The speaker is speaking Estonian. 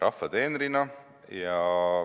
Rahva teenrina.